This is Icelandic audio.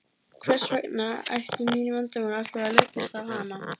Hvers vegna ættu mín vandamál alltaf að leggjast á hana.